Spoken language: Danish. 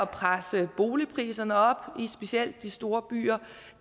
presse boligpriserne op specielt i de store byer